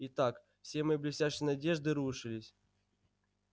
итак все мои блестящие надежды рушились